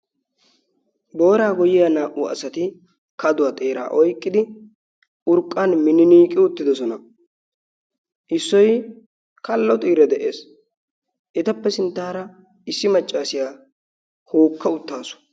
Booraa goyyiya naa"u asati kaduwaa xeeraa oiqqidi urqqan mininiiqi uttidosona issoi kallo xiira de'ees etappe sinttaara issi maccaasiyaa hookka uttaasu.